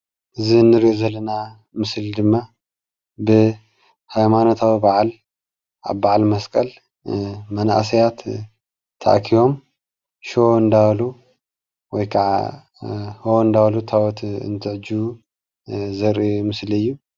እዚ እንሪኦ ዘለና ምስሊ ድማ ብሃይማኖታዊ በዓል ኣብ ብዓል መስቀል መናእሰያት ተኣኪቦም ሽቦ እንዳበሉ ወይ ኽዓ ሆ እንዳበሉ ታቦት እንትዕጅቡ ዘርኢ ምስሊ እዩ።